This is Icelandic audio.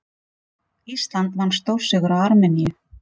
Ísland vann stórsigur á Armeníu